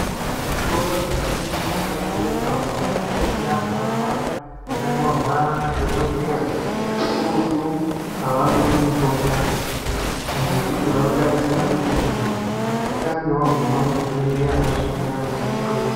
Muzvitoro zvinotengese mutombo ukagumemo usina tsamba yakanyorwa nadhokodheya, kakurutu havakupi mutombo ngekuti vanotarisira kuti muntu utange waguma kuchibhedhleya wozvouya kona ikweyo.